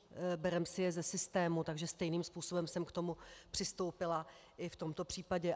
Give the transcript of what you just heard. Bereme si je ze systému, takže stejným způsobem jsem k tomu přistoupila i v tomto případě.